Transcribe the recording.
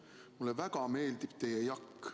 Mulle väga meeldib teie jakk.